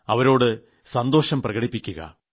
അവരോട് സന്തോഷം പ്രകടിപ്പിക്കുക